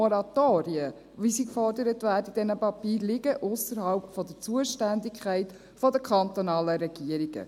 Moratorien, wie sie in diesen Papieren gefordert werden, liegen ausserhalb der Zuständigkeit der kantonalen Regierungen.